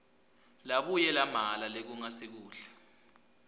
labuye lamela lokungasikuhle